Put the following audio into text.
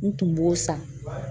N tun b'o san